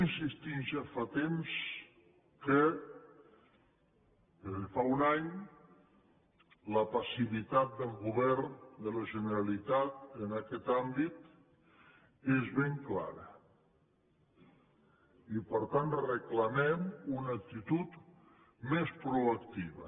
insistim ja fa temps que des de fa un any la passivitat del govern de la generalitat en aquest àmbit és ben clara i per tant reclamem una actitud més proactiva